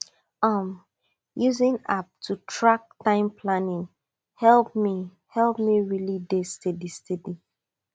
um using app to track time planning help me help me really dey steady steady